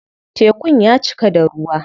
Tekun ya cika da ruwa.